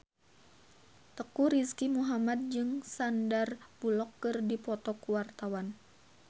Teuku Rizky Muhammad jeung Sandar Bullock keur dipoto ku wartawan